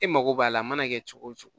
E mago b'a la a mana kɛ cogo cogo